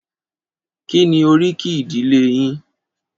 Kí ni oríkì ìdílé yín?